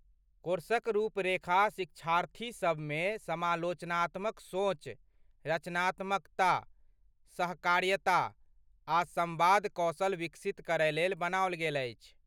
कोर्सक रुपरेखा शिक्षार्थीसभ मे समालोचनात्मक सोच, रचनात्मकता, सहकार्यता आ सम्वाद कौशल विकसित करयलेल बनाओल गेल अछि।